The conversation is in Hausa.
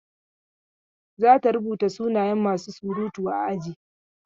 Za ta rubuta sunayen masu surutu a aji.